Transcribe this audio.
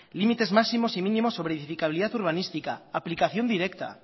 límites máximos y mínimos sobre edificabilidad urbanística aplicación directa